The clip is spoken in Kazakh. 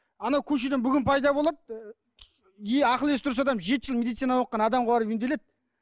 анау көшеден бүгін пайда болады ақыл есі дұрыс адам жеті жыл медицинада оқыған адамға барып емделеді